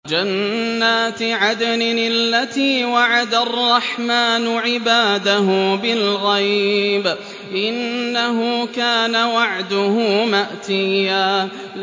جَنَّاتِ عَدْنٍ الَّتِي وَعَدَ الرَّحْمَٰنُ عِبَادَهُ بِالْغَيْبِ ۚ إِنَّهُ كَانَ وَعْدُهُ مَأْتِيًّا